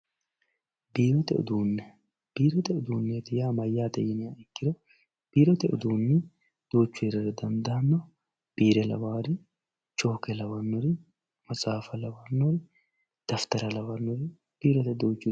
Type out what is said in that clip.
Biirote uduune, biirote uduuneeti yaa mayate yiniha ikkiro biirote uduunni duuchu heerate dandanno biire lawaari chooke lawanori, maxxaafa lawanori, dafitara lawanoti biirote duuchu uduunni heerranno